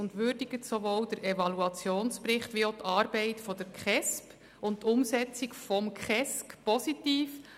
Sie würdigt den Evaluationsbericht wie auch die Arbeit der KESB und die Umsetzung des KESG positiv.